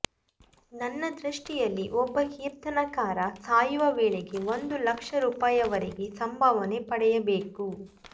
ನನ್ನ ದೃಷ್ಟಿಯಲ್ಲಿ ಒಬ್ಬ ಕೀರ್ತನಕಾರ ಸಾಯುವ ವೇಳೆಗೆ ಒಂದು ಲಕ್ಷ ರೂಪಾಯಿವರೆಗೆ ಸಂಭಾವನೆ ಪಡೆಯಬೇಕು